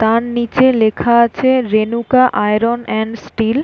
তার নিচে লেখা আছে রেণুকা আয়রন এন্ড স্টিল --